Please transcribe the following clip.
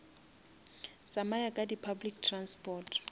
tsamaya ka di public transport